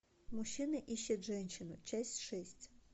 мужчина ищет женщину часть шесть